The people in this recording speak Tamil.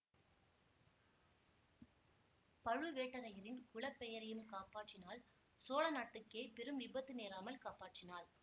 பழுவேட்டரையரின் குல பெயரையும் காப்பாற்றினாள் சோழ நாட்டுக்கே பெரும் விபத்து நேராமல் காப்பாற்றினாள்